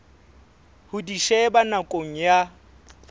ho di sheba nakong ya